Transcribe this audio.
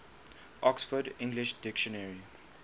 oxford english dictionary